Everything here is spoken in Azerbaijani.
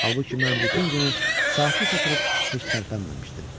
Halbuki mən bütün günü sakit oturub heç tərpənməmişdim.